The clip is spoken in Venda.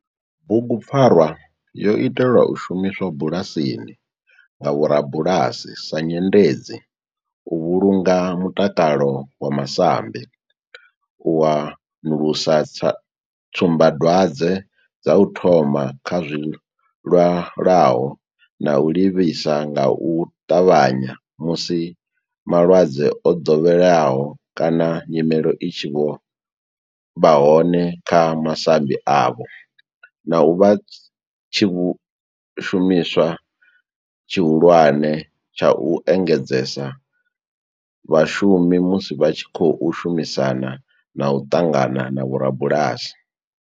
Bugu pfarwa yo itelwa u shumiswa bulasini nga vhorabulasi sa nyendedzi u vhulunga mutakalo wa masambi, u wanulusa tsumba dwadzwe dza u thoma kha zwilwalaho na u livhisa nga u tavhanya musi malwadze o dovheleaho kana nyimele i tshi vha hone kha masambi avho, na u vha tshishumiswa tshihulwane tsha u engedzedza vhashumi musi vha tshi khou shumisana na u ṱangana na vhorabulasi.